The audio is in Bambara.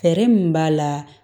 Fɛɛrɛ min b'a la